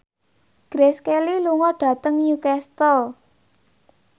Grace Kelly lunga dhateng Newcastle